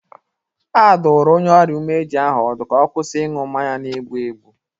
Adụrụ onye ọrịa umeji ahụ ọdụ ka ọ kwụsị ịṅụ mmanya na-egbụ egbụ.